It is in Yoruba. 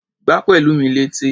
Gbá Pẹ̀lúmi létí!